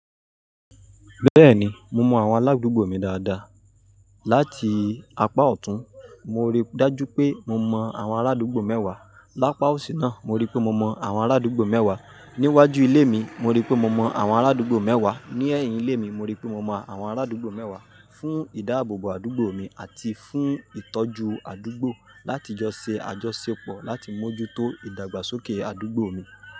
Bẹ́ẹ̀ni, mo mọ àwọn aládùúgbò mi dáadáa. Láti apá ọ̀tún, mo rí dájú pé mo mọ àwọn aládùúgbò mẹ́wàá. Lápa òsì náà, mo rí pé mo mọ àwọn aládùúgbò mẹ́wàá. Ní iwájú ilé mi, mo rí pé mo mọ àwọn aládùúgbò mẹ́wàá. Ní ẹ̀yìn ilé mi, mo rí pé mo mọ àwọn aládùúgbò mẹ́wàá. Fún ìdáàbòbò àdúgbò mi àti fún ìtọ́jú àdúgbò, láti jọ ṣe àjọṣepọ̀ láti mójútó ìdàgbàsókè àdúgbò mi.